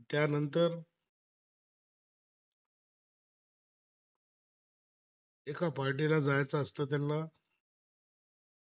एका पार्टीला जायचं असतं त्यांना